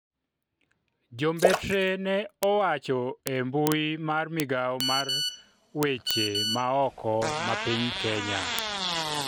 jombetre ne owacho e mbui mar migawo mar weche ma oko ma piny Kenya